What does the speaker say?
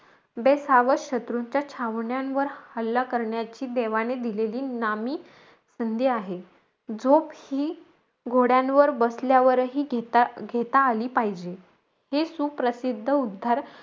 बेसावध शंत्रुंच्या छावण्यांवर हल्ला करण्याची देवाने दिलेली नामी संधी आहे. झोप ही घोड्यांवर बसल्यावर घेता-घेता आली पाहिजे. हे सुप्रसिद्ध उद्धार,